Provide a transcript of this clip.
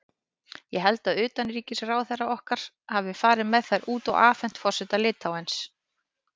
Ég held að utanríkisráðherrann okkar hafi farið með þær út og afhent forseta Litháens.